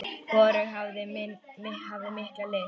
Hvorug okkar hafði mikla lyst.